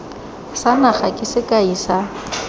sa naga ke sekai sa